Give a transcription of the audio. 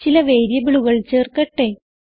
ചില വേരിയബിളുകൾ ചേർക്കട്ടെ